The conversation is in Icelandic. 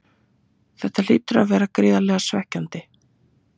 Þetta hlýtur að vera gríðarlega svekkjandi?